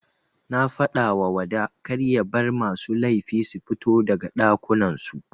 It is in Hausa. Nafadawa wada karya bar masu laifi sufito daga ɗakunan su.